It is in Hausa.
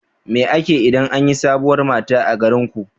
Me ake yi idan an yi sabuwar mata a garinku?